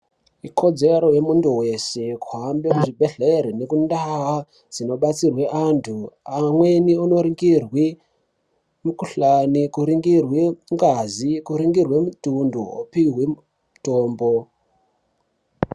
Ikodzero yemuntu weshe kuhamba kuzvibhedhlera nekundau dzinobatsirwa vantu pamweni kundoningurwa mukuhlani kuningirwei mutundo opihwa mutombo.